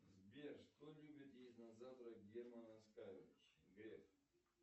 сбер что любит есть на завтрак герман оскарович греф